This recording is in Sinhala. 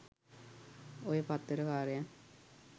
ඔය පත්තර කාරයන්